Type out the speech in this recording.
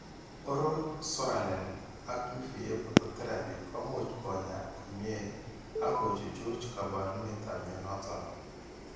Oral psoralen ak UVA phototherapy ko much kony'aa komny'e ak ko chuchuch kaabarunetap mnyando noton.